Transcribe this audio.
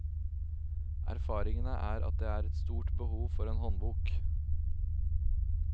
Erfaringene er at det er et stort behov for en håndbok.